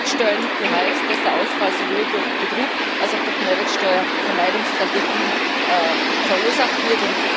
Mehrwertsteuerlücke heißt, dass der Ausfall sowohl durch Betrug als auch durch Mehrwertsteuervermeidungsstrategien verursacht wird.